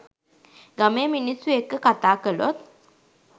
ගමේ මිනිස්‌සු එක්‌ක කතා කළොත්